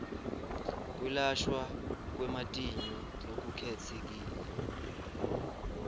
kwelashwa kwematinyo lokukhetsekile